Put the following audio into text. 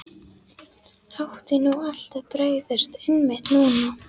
Átti nú allt að bregðast, einmitt núna?